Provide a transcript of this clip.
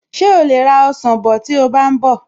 Ṣé o lè ra ọsàn bọ̀ tí o bá ń bọ̀?